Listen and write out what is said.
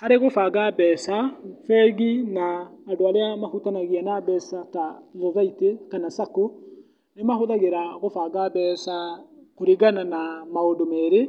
Harĩ gũbanga mbeca, bengi na andũ arĩa mahutanagia na mbeca ta thothaitĩ, kana Sacco, nĩ mahũhagĩra gũbanga mbeca kũringana na maũndũ merĩ,